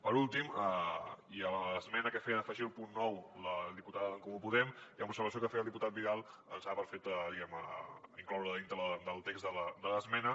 per últim l’esmena que feia afegir al punt nou la diputada d’en comú podem i amb l’observació que feia el diputat vidal ens sembla perfecte diguem ne incloure la dintre del text de l’esmena